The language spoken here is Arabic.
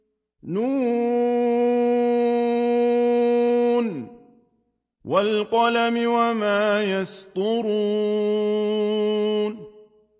ن ۚ وَالْقَلَمِ وَمَا يَسْطُرُونَ